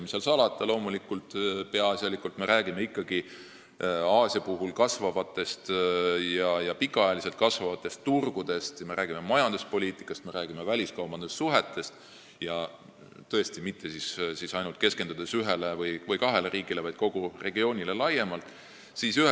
Mis seal salata, peaasjalikult me räägime Aasia puhul ikkagi pikaajaliselt kasvavatest turgudest, me räägime majanduspoliitikast ja väliskaubandussuhetest ning mitte ainult ühest või kahest riigist, vaid kogu regioonile laiemalt keskendudes.